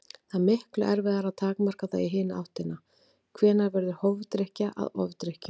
Það er miklu erfiðara að takmarka það í hina áttina: Hvenær verður hófdrykkja að ofdrykkju?